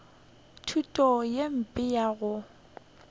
thuto ye mpe ya go